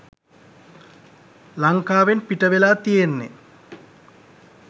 ලංකාවෙන් පිටවෙලා තියෙන්නෙ